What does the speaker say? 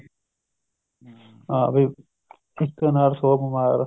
ਹਾਂ ਵੀ ਇੱਕ ਅਨਾਰ ਸੋ ਬੀਮਾਰ